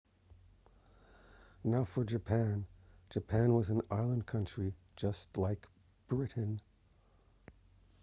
now for japan japan was an island country just like britain